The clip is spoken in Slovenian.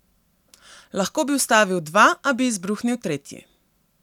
Lahko bi ustavil dva, a bi izbruhnil tretji.